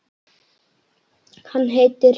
Hann heitir